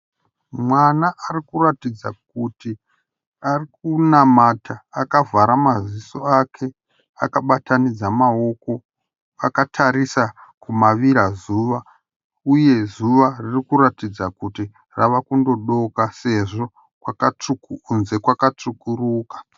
Mwana ari kuratidza kuti ari kunamata akavhara maziso ake akabatanidza maoko, akatarisa kumavira zuva uye zuva ravakuratidza kuti rava kunodoka sezvo kunze kwakatsvukuruka.